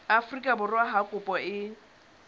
afrika borwa ha kopo e